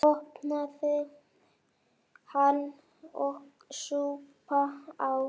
Opnaði hana og saup á.